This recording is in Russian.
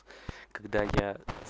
когда я